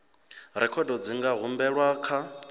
rekhodo dzi nga humbelwa kha